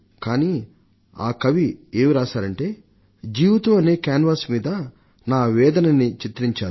కానీ ఆ కవి ఏం రాశారంటే జీవితం అనే బొమ్మలు వేసే గుడ్డ మీద నా వేదనని చిత్రించాను